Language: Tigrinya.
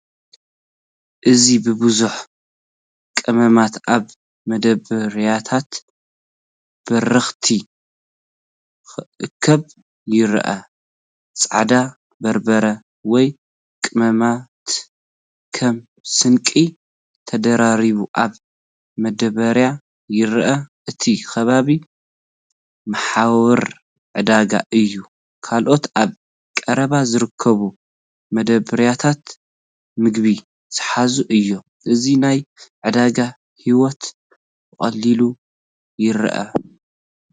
እዚ ብብዝሒ ቀመማት ኣብ መደባርያታት በረኸት ክእከብ ይረአ። ጻዕዳ በርበረ ወይ ቀመማት ከም ስንቂ ተደራሪቡ ኣብ መዳበርያ ይረአ። እቲ ከባቢ መሓውር ዕዳጋ እዩ፤ ካልኦት ኣብ ቀረባ ዝርከቡ መደበርያታት ምግቢ ዝሓዙ እዮም። እዚ ናይ ዕዳጋ ህይወት ብቐሊሉ ይርአ።